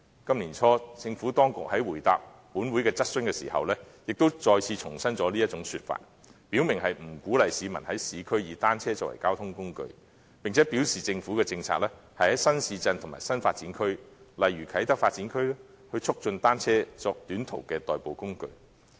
今年年初，政府當局在回答立法會的質詢時，亦再次重申這種說法，表明不鼓勵市民在市區以單車作為交通工具，並表示政府的政策是在新市鎮及新發展區，例如啟德發展區，促進單車作短途的代步工具。